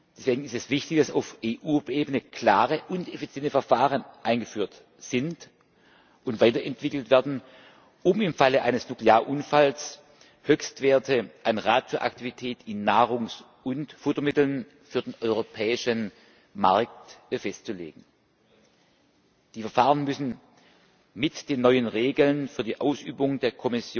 Deswegen ist es wichtig, dass auf EU Ebene klare und effiziente Verfahren eingeführt sind und weiterentwickelt werden, um im Falle eines Nuklearunfalls Höchstwerte an Radioaktivität in Nahrungs und Futtermitteln für den europäischen Markt festzulegen. Die Verfahren müssen mit den neuen Regeln für die Ausübung der